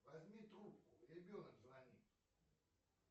возьми трубку ребенок звонит